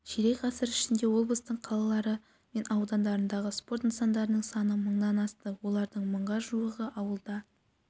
ширек ғасыр ішінде облыстың қалалары мен аудандарындағы спорт нысандарының саны мыңнан асты олардың мыңға жуығы ауылда